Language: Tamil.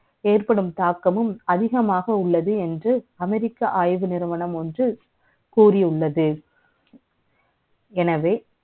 ஏற்படும் தாக்கமும், அதிகமாக உள்ளது என்று, America ஆய்வு நிறுவனம் ஒன்று, கூறி கூறியுள்ளது எனவே,